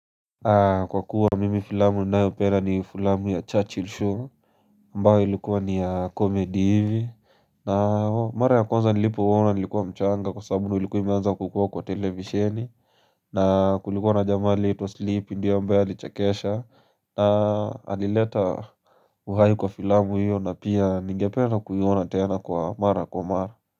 Kwa kuwa mimi filamu ninayo upenda ni filamu ya Churchill show ambayo ilikuwa ni ya comedy hivi. Na mara ya kwanza nilipo uona nilikuwa mchanga kwa sababu ndo ilikuwa imeanza kukuwa kwa televisheni. Na kulikuwa na jamaa aliyeitwa sleepy ndiyo ambaye alichakesha na alileta uhai kwa filamu hiyo na pia ningependa kuiona tena kwa mara kwa mara.